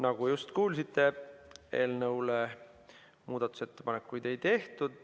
Nagu just kuulsite, eelnõu kohta muudatusettepanekuid ei tehtud.